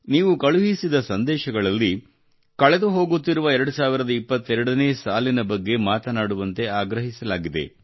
ನೀವು ಕಳುಹಿಸಿದ ಸಂದೇಶಗಳಲ್ಲಿ ಕಳೆದುಹೋಗುತ್ತಿರುವ 2022 ನೇ ಸಾಲಿನ ಬಗ್ಗೆ ಮಾತನಾಡುವಂತೆ ಆಗ್ರಹಿಸಲಾಗಿದೆ